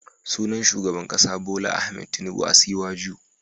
Sunan shugaban kasa Bola Ahmed Tinibu Asiwaju.